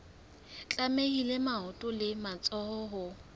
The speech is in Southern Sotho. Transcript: tlamehile maoto le matsoho ho